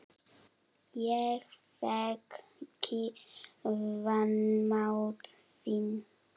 Ég þekki vanmátt þinn.